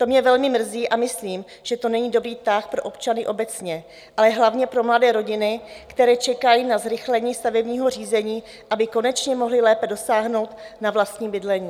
To mě velmi mrzí a myslím, že to není dobrý tah pro občany obecně, ale hlavně pro mladé rodiny, které čekají na zrychlení stavebního řízení, aby konečně mohly lépe dosáhnout na vlastní bydlení.